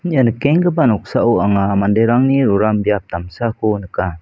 ia nikenggipa noksao anga manderangni roram biap damsako nika.